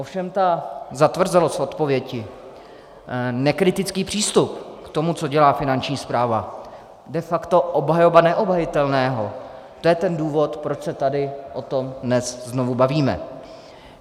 Ovšem ta zatvrzelost odpovědi, nekritický přístup k tomu, co dělá Finanční správa, de facto obhajoba neobhajitelného, to je ten důvod, proč se tady o tom dnes znovu bavíme.